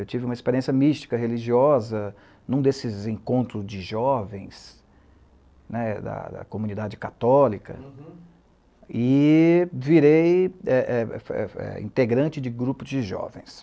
Eu tive uma experiência mística, religiosa, em um desses encontros de jovens né, da da comunidade católica, uhum, e virei eh eh eh integrante de grupos de jovens.